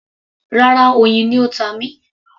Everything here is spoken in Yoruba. Rárá, oyin ni ó ta mí